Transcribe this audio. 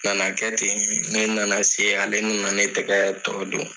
Nana kɛ ten , ne nana se ale nana ne tɛgɛ tɔ don.